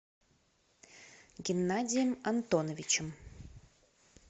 геннадием антоновичем